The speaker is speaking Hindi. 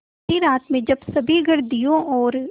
अँधेरी रात में जब सभी घर दियों और